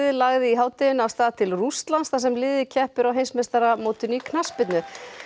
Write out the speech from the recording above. lagði í hádeginu af stað til Rússlands þar sem liðið keppir á heimsmeistaramótinu í knattspyrnu